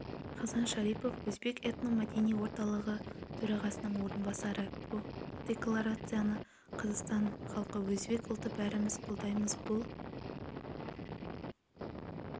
хасан шарипов өзбек этно-мәдени орталығы төрағасының орынбасары бұл декларацияны қазақстан халқы өзбек ұлты бәріміз қолдаймыз бұл